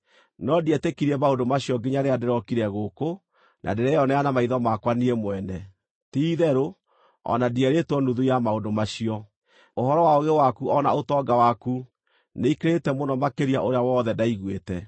No ndietĩkirie maũndũ macio nginya rĩrĩa ndĩrokire gũkũ, na ndĩreyonera na maitho makwa niĩ mwene. Ti-itherũ, o na ndierĩtwo nuthu ya maũndũ macio. Ũhoro wa ũũgĩ waku o na ũtonga waku, nĩikĩrĩte mũno makĩria ũrĩa wothe ndaiguĩte.